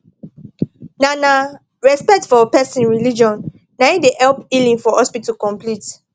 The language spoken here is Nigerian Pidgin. na na respect for person religion naim da help healing for hospital complete